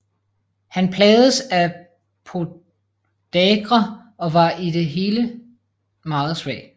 Han plagedes af podagra og var i det hele meget svag